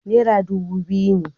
Nera dubu biyu ne